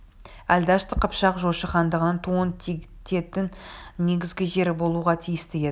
ал дәшті қыпшақ жошы хандығының туын тігетін негізгі жері болуға тиісті еді